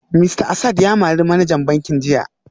Mista Asad ya mari manajan bankin jiya